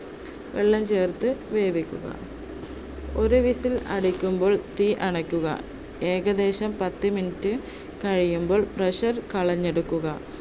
വെള്ളം ചേർത്ത് വേവിക്കുക. ഒരു whistle അടിക്കുമ്പോൾ തീയണക്കുക. ഏകദേശം പത്തു minute കഴിയുമ്പോൾ pressure കളഞ്ഞെടുക്കുക.